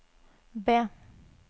B